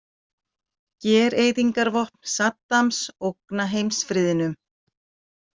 Gereyðingarvopn Saddams ógna heimsfriðnum.